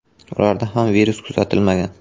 Ularda ham virus kuzatilmagan.